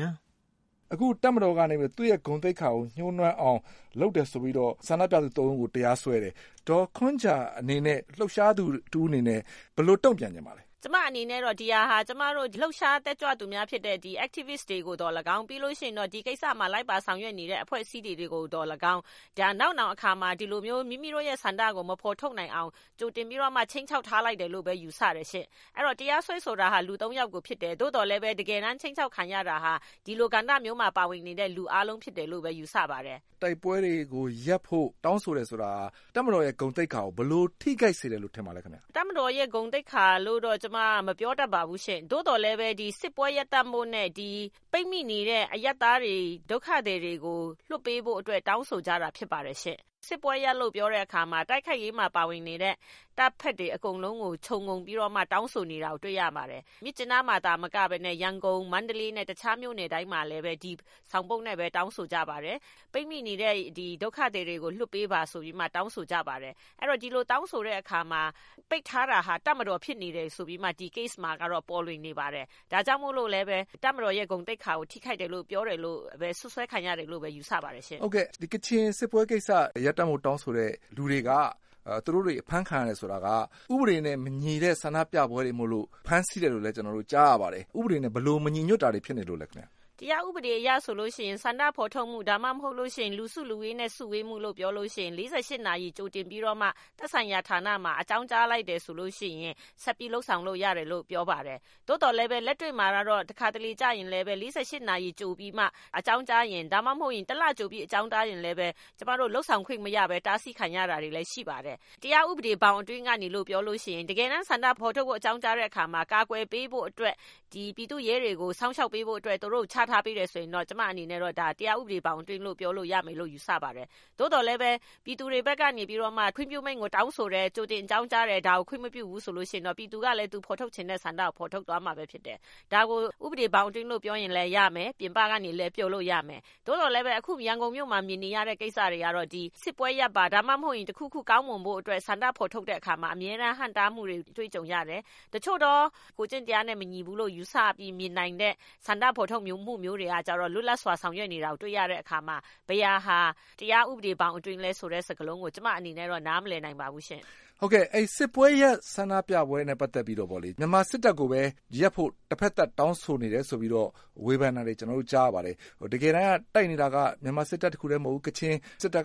င်။ ။ အခုတပ်မတော်ကနေပြီးတော့ သူ့ ဂုဏ်သိက္ခာ ညှိးနွမ်းအောင်လုပ်တယ်ဆိုပြီးတော့ ဆန္ဒပြသူ ၃ ဦးကို တရားစွဲတယ်။ ဒေါ်ခွန်းဂျာအနေနဲ့ လှုပ်ရှားသူတဦးအနေနဲ့ ဘယ်လိုတုံ့ပြန်ပါသလဲ။ ဒေါ်ခွန်းဂျာ။ ။ ဒီဟာက ကျမအနေနဲ့ ကျမတို့ လှုပ်ရှားတက်ကြွသူ Activist တွေကိုသော်လည်းကောင်း ဒီကိစ္စပါလိုက်ပါဆောင်ရွက်နေတဲ့ အဖွဲ့အစည်းတွေကိုသော်လည်းကောင်း နောက်နောင်အခါမှာ မိမိတို့ဆန္ဒကို မဖော်ဆောင်၊ မဖော်ထုတ်နိုင်အောင် ဒီလိုမျိုးခြိမ်းခြောက်ထားလိုက်တယ်လို့ ယူဆတယ်ရှင့်။ အဲဒီလိုတရားစွဲဆိုတာက လူ ၃ ယောက်ကိုဖြစ်တယ်။ တကယ်တမ်းခြိမ်းခြောက် ခံရတာက ဒီလိုကာလမျိုးမှာ ပါဝင်နေတဲ့လူအားလုံးကို ယူဆပါတယ်။ ကိုကျော်အောင်လွင်။ ။တိုက်ပွဲတွေကိုရပ်ဖို့တောင်းဆိုတယ်ဆိုတာက တပ်မတော်ဂုဏ်သိက္ခာကို ဘယ်လိုထိခိုက်စေတယ်လို့ ထင်ပါသလဲခင်ဗျ။ ဒေါ်ခွန်းဂျာ။ ။တပ်မတော်ဂုဏ်သိက္ခာလို့တော့ မပြောတတ်ပါဘူး သို့သော်လည်းဒီစစ်ပွဲရပ်တန့်ဖို့နဲ့ ပိတ်မိနေတဲ့အရပ်သားတွေ ဒုက္ခသည်တွေကိုလွှတ်ပေးဖို့အတွက်တောင်းဆိုကြတာဖြစ်ပါတယ်။ စစ်ပွဲရပ်လို့ပြောတဲ့အခါမှာ တိုက်ခိုက်ရေးမှာပါဝင်နေတဲ့ တပ်ဖက်တွေအားလုံးကို ခြုံပြီးမှ တောင်းဆိုနေတာကိုတွေ့ရပါတယ်။ မြစ်ကြီးနားမှာသာမကပဲနဲ့ ၊ ရန်ကုန်၊ မန္တလေး တခြားမြို့နယ်တွေမှာလည်း ဒီဆောင်ပုဒ် တောင်းဆိုကြပါတယ်။ ပိတ်မိနေတဲ့ ဒုက္ခသည်တွေကို လွှတ်ပေးပါဆိုပြီးတော့ တောင်းဆိုကြပါတယ်။ ဒီလိုတောင်းဆိုတဲ့အခါမှာ ပိတ်ထားတာက တပ်မတော်ဖြစ်နေတယ်ဆိုပြီးမှ ဒီ case မှာပေါ်လွင်နေတယ်။ ဒါကြောင့်မို့လို့ တပ်မတော်ရဲ့ ဂုဏ်သိက္ခာထိခိုက်တယ်လို့ ပြောတယ်လို့ ယူဆပါတယ်။ ကိုကျော်အောင်လွင်။ ။ကချင်စစ်ပွဲရပ်တန့်ဖို့တောင်းဆိုသူတွေအဖမ်းခံရတယ်ဆိုတာက ဥပဒေနဲ့မညီတဲ့ ဆန္ဒပြပွဲတွေမို့လို့ ဖမ်းဆီးတယ်လို့ကြားရပါတယ်။ ဥပဒေနဲ့ ဘယ်လိုမညီညွတ်တာတွေဖြစ်နေလို့လဲ။ ဒေါ်ခွန်းဂျာ။ ။ တရားဥပဒေအရဆိုရင် ဆန္ဒဖော်ထုတ်မှု ၊ ဒါမှမဟုတ် လူစုဝေးမှုလို့ပြောလို့ရှိရင် ၄၈ နာရီကြိုတင်ပြီးတော့ သက်ဆိုင်ရာ ဌာနမှာ အကြောင်းကြားလိုက်တယ်ဆိုရင် ဆက်ပြီးလုပ်ဆောင်လို့ရတယ်လို့ ပြောပါတယ်။ သို့သော်လည်း လက်တွေ့မှာက တခါတလေကျရင် ၄၈ နာရီကြိုအကြောင်းကြားရင်၊ ၁ လကြိုပြီးတော့ အကြောင်းကြားရင် ကျမတို့ လုပ်ဆောင်ခွင့်မရပဲ တားဆီးခံရတာတွေရှိပါတယ်။ တရားဥပဒေဘောင်အတွင်းကလို့ပြောရင် တကယ်ပဲ ဆန္ဒဖော်ထုတ်ဖို့အကြောင်းကြားတဲ့အခါမှာ ကာကွယ်ပေးဖို့ ၊ ပြည်သူ့ရဲတွေကိုစောင့်ရှောက်ပေးဖို့အတွက် သူတို့ကို ချထားပေးတယ်ဆိုရင် ကျမအနေနဲ့တော့ တရားဥပဒေဘောင်အတွင်းလို့ပြောလို့ရမယ်လို့ ယူဆပါတယ်။ သို့သော်လည်း ပြည်သူတွေဘက်က ခွင့်ပြုမိန့်ကိုတောင်းဆိုတယ်၊ ကြိုတင်အကြောင်းကြားတယ် ဒါကို ခွင့်မပြုဘူးဆိုရင် ပြည်သူက သူဖော်ထုတ်ချင်တဲ့ ဆန္ဒကိုဖော်ထုတ်သွားမှာဖြစ်တယ်။ဒါကို တရားဥပဒေဘောင်အတွင်းလို့ပြောလို့ရမယ် ပြင်ပကနေလည်း ပြောလို့ရမယ်။ သို့သော်လည်းအခု ရန်ကုန်မြို့မှာ မြင်နေရတဲ့ကိစ္စက စစ်ပွဲရပ်ပါ။ ဒါမှမဟုတ် တခုခုကောင်းမွန်ဖို့အတွက် ဆန္ဒဖော်ထုတ်တဲ့အခါမှာ အမြဲတန်းဟန့်တားမှုတွေ တွေ့ကြုံရတယ်။ တချို့သော ကိုယ်ကျင့်တရားနဲ့ မညီဘူးလို့ ယူဆပြီးမြင်နိုင်တဲ့ ဆန္ဒဖော်ထုတ်မှုမျိုးတွေကျတော့ လွတ်လပ်စွာဆောင်ရွက်နေတာကို တွေ့ရတဲ့အခါမှာ ဘယ်ဟာက တရားဥပဒေဘောင်အတွင်းလဲဆိုတာကို ကျမအနေနဲ့ နားမလည်နိုင်ပါဘူးရှင့်။ ကိုကျော်အောင်လွင်။ ။စစ်ပွဲရပ် ဆန္ဒပြပွဲနဲ့ ပတ်သက်ပြီးတော့ မြန်မာစစ်တပ်ကိုပဲ ရပ်ဖို့ တဖက်သတ်တောင်းဆိုနေတယ်ဆိုပြီးတော့ ကျနော်တို့ကြားရပါတယ် တကယ်တမ်း တိုက်နေတာက မြန်မာစစ်တပ်တခုတည်းမဟုတ်ဘူး ကချင်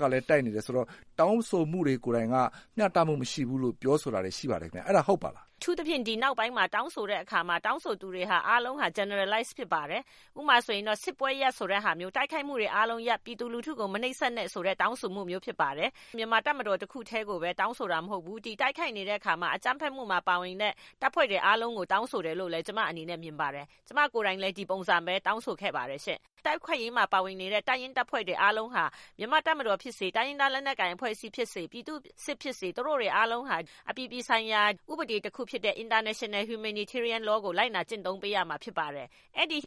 ကလည်း တိုက်နေတယ်ဆိုတော့ တောင်းဆိုမှုတွေကိုယ်တိုင်က မျှတမှုမရှိဘူးလို့ ပြောဆိုတာတွေရှိပါတယ်ခင်ဗျ အဲဒါဟုတ်ပါသလား။ ဒေါ်ခွန်းဂျာ။ ။အထူးသဖြင့်ဒီနောက်ပိုင်းတောင်းဆိုတဲ့အခါမှာ တောင်းဆိုသူတွေအားလုံးက Generalize ဖြစ်ပါတယ်။ ဥပမာ-စစ်ပွဲရပ်ဆိုတာမျိုး တိုက်ခိုက်မှုတွေအားလုံးရပ် ပြည်သူလူထုကို မနှိပ်စက်နဲ့ဆိုတာမျိုး တောင်းဆိုတာဖြစ်ပါတယ်။ မြန်မာတပ်မတော်တခုကိုပဲတောင်းဆိုတာမဟုတ်ပါဘူး။ တိုက်ခိုက်နေတဲ့အခါမှာ အကြမ်းဖက်မှုမှာပါဝင်တဲ့ တိုက်ခိုက်မှုတွေအားလုံးကို တောင်းဆိုတယ်ဆိုလို့ကျမအနေနဲ့ မြင်ပါတယ်။ ကျမကိုယ်တိုင်လည်း ဒီပုံစံတောင်းဆိုခဲ့ပါတယ်။ တိုက်ခိုက်ရေးမှာပါဝင်နေတဲ့ တပ်ရင်းတပ်ဖွဲ့တွေအားလုံးဟာ မြန်မာ့တပ်မတော်ဖြစ်စေ ၊တိုင်းရင်းသားလက်နက်ကိုင်အဖွဲ့အစည်းဖြစ်စေ ၊ ပြည်သူ့စစ်ဖြစ်စေ သူတို့တွေအားလုံးဟာ အပြည်ပြည်ဆိုင်ရာ ဥပဒေတခုဖြစ်တဲ့ International Humanitarian Law ကို လိုက်နာကျင့်သုံးပေးရမှာဖြစ်ပါတယ်။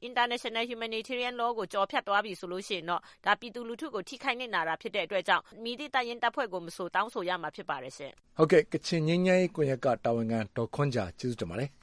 International Humanitarian Law ကို ကျော်ဖြတ်သွားပြီဆိုရင် ဒါပြည်သူလူထုကို ထိခိုက်နစ်နာတာဖြစ်တဲ့အတွက်ကြောင့် မည်သည့်တပ်ဖွဲ့ကိုမဆို တောင်းဆိုရမှာပါ။ ကိုကျော်အောင်လွင်။ ။ ကချင်ငြိမ်းချမ်းရေးကွန်ယက်က ဒေါ်ခွန်းဂျာကို ကျေးဇူးတင်ပါတယ်။